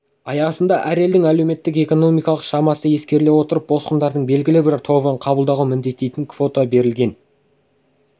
аясында әр елдің әлеуметтік-экономикалық шамасы ескеріле отырып босқындардың белгілі бір тобын қабылдауға міндеттейтін квота белгіленген